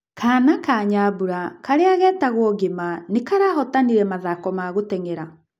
Kana na Nyambura, karĩa getagwo Ngĩma nĩ karahotanire mathako ma gũteng'era.